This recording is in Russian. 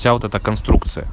вся вот эта конструкция